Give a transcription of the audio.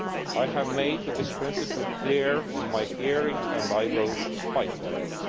I made this principle clear in my hearing and I will fight for